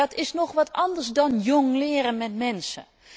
Maar dat is nog wat anders dan jongleren met mensen.